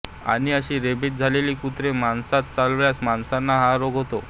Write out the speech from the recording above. आणि अशी रेबीज झालेली कुत्री माणसास चावल्यास माणसाना हा रोग होतो